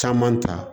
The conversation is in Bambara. Caman ta